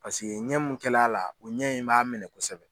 Paseke ɲɛ mun kɛl'a la o ɲɛ in b'a minɛ kosɛbɛ